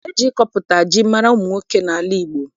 E ji ịkọpụta ji mara ụmụ nwoke n'ala Igbo